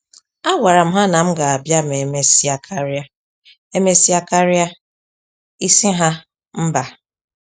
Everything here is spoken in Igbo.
A gwara m ha na m ga-abịa ma emesia karịa emesia karịa isi ha mba